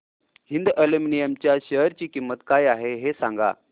Hind aluminium च्या share ची किंमत काय आहे हे सांगा